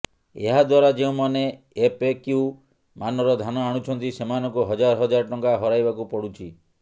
ଏହାଦ୍ବାରା େଯଉଁମାେନ ଏଫ୍ଏକ୍ୟୁ ମାନର ଧାନ ଆଣୁଛନ୍ତି େସମାନଙ୍କୁ ହଜାର ହଜାର ଟଙ୍କା ହରାଇବାକୁ ପଡୁଛି